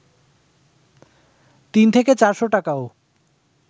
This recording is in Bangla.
তিন থেকে চারশ টাকাও